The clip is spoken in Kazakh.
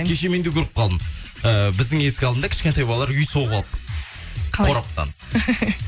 кеше мен де көріп қалдым ііі біздің есік алдында кішкентай балалар үй соғып алып қораптан